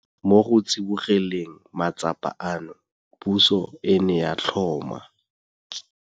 Mo go tsibogeleng matsapa ano, puso e ne ya tlhoma.